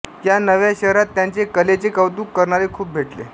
या नव्या शहरात त्यांचे कलेचे कौतुक करणारे खूप भेटले